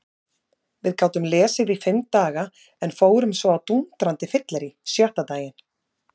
Við gátum lesið í fimm daga en fórum svo á dúndrandi fyllerí sjötta daginn.